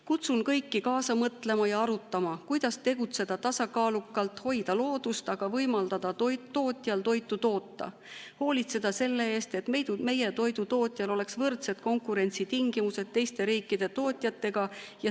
Kutsun kõiki kaasa mõtlema ja arutama, kuidas tegutseda tasakaalukalt, hoida loodust, aga ka võimaldada tootjal toota toitu, hoolitseda selle eest, et meie toidutootjal oleks võrdsed konkurentsitingimused teiste riikide tootjatega.